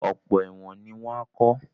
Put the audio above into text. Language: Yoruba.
Ọ̀pọ̀ ẹ̀wọ̀n ni wọ́n á kọ́